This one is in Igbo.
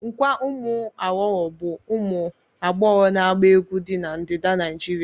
Nkwa umuaghogho bu umu agbogho na gba egwu di na ndida Naijịrịa.